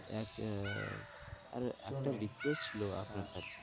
এক আহ আর একটা request ছিল আপনার কাছে,